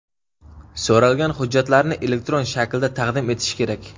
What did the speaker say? so‘ralgan hujjatlarni elektron shaklda taqdim etishi kerak.